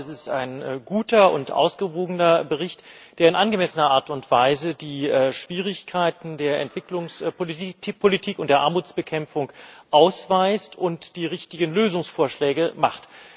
Ich glaube, es ist ein guter und ausgewogener Bericht, der in angemessener Art und Weise die Schwierigkeiten der Entwicklungspolitik und der Armutsbekämpfung aufzeigt und die richtigen Lösungsvorschläge macht.